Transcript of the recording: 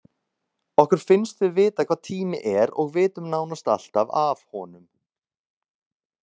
Okkur finnst við vita hvað tími er og vitum nánast alltaf af honum.